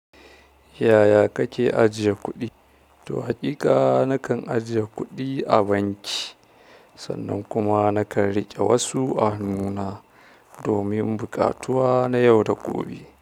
Yaya kake ajiye kuɗi? To haƙiƙa nakan ajiye kuɗi a banki sannan kuma nakan riƙe wasu a hannuna domin buƙatuwa na yau da gobe.